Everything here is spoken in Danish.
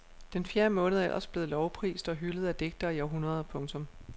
Den fjerde måned er ellers blevet lovprist og hyldet af digtere i århundreder. punktum